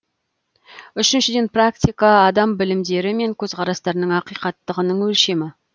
үшіншіден практика адам білімдері мен көзқарастарының ақиқаттығының өлшемі